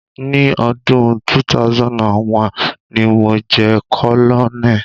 Ni ọdún 2001, ni mo jẹ́ colonel.